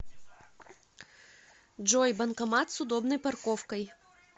джой банкомат с удобной парковкой